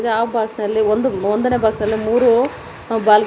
ಆ ಬಾಕ್ಸ್ ನಲ್ಲಿ ಒಂದು ಒಂದನೇ ಬಾಕ್ಸ್ ನಲ್ಲಿ ಮೂರು ಬಾಲ್ ಗ--